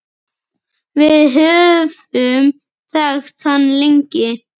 Við höfum þekkt hann lengi.